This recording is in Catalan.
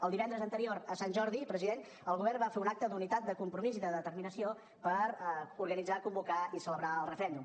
el divendres anterior a sant jordi president el govern va fer un acte d’unitat de compromís i de determinació per organitzar convocar i celebrar el referèndum